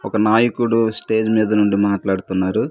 ఒక నాయకుడు స్టేజ్ మీద నుండి మాట్లాడుతున్నారు.